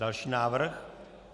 Další návrh.